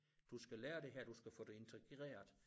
Du skal lære det her du skal få det integreret